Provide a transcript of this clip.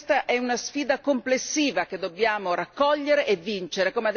Questa è una sfida complessiva che dobbiamo raccogliere e vincere.